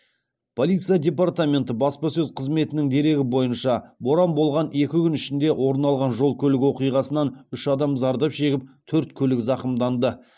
полиция департаменті баспасөз қызметінің дерегі бойынша боран болған екі күн ішінде орын алған жол көлік оқиғасынан үш адам зардап шегіп төрт көлік зақымданды